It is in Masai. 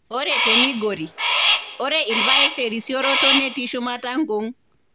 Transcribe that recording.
Ore te Migori, ore irpaek te risiroto netii shumata nkung.#